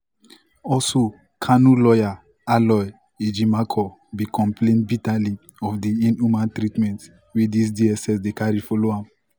also kanu lawyer aloy ejimakor bin complain bitterly of di "inhumane treatment" wey di dss dey carry follow